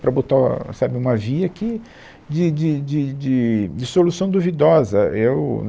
Para botar sabe, uma via que de de de de de solução duvidosa. É o